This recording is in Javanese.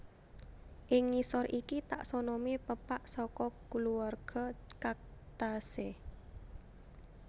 Ing ngisor iki taksonomi pepak saka kulawarga Cactaceae